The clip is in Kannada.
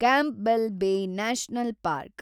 Campbell Bay national park